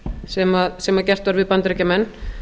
sem gert var við bandaríkjamenn